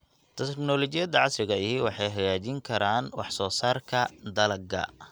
Tignoolajiyada casriga ahi waxay hagaajin karaan wax soo saarka dalagga.